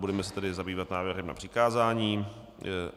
Budeme se tedy zabývat návrhem na přikázání.